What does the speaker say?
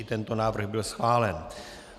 I tento návrh byl schválen.